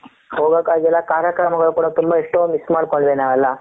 ಹೋಗಕಾಗಿಲ್ಲ ಕಾರ್ಯಕ್ರಮಗಳು ಕೂಡ ತುಂಬಾ ಇಷ್ವಾವಗಿ ಮಿಸ್ ಮಾಡಿಕೊಂಡಿವಿ ನಾವು ಎಲ್ಲ